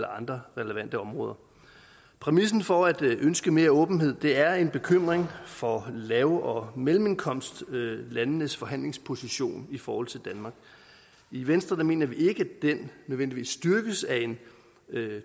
andre relevante områder præmissen for at ønske mere åbenhed er en bekymring for lav og mellemindkomstlandenes forhandlingsposition i forhold til danmark i venstre mener vi ikke at den nødvendigvis styrkes af en